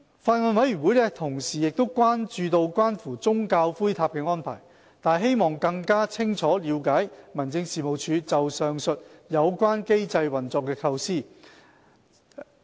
法案委員會同時亦關注關乎宗教骨灰塔的安排，但希望更清楚了解民政事務局就上訴及有關機制運作的構思。